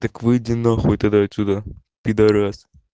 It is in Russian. так выйди на хуй тогда отсюда пидорас